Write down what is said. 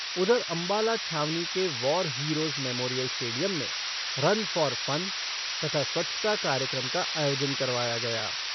उधर अम्बाला छावनी के वॉर हीरोज़ मेमोरियल स्टेडियम में रन फ़ॉर फ़न तथा स्वच्छता कार्यक्रम का आयोजन करवाया गया।